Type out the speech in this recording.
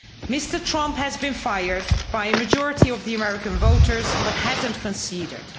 Mr Trump has been fired by a majority of the American voters, but he hasn't conceded.